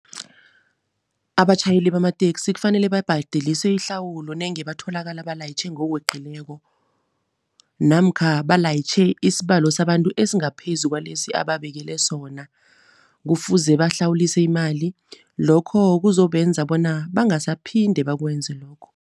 Abatjhayeli bamateksi kufanele babhadeliswe ihlawulo nenge batholakala balayitjhe ngokweqileko namkha balayitjhe isibalo sabantu esingaphezu kwalesi ababekele sona. Kufuze bahlawulise imali, lokho kuzobenza bona bangasaphinde bakwenze lokho.